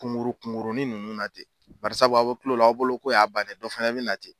Kunkuru kunurunin ninnu na ten barisabu a' bɛ kil'ow la aw bolo k'o y'a bannen ye dɔ fana bɛ na ten.